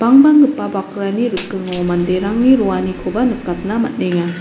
bangbanggipa bakrani rikingo manderangni roanikoba nikatna man·enga.